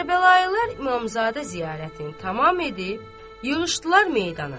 Kərbəlayılar İmamzadə ziyarətini tamam edib yığışdılar meydana.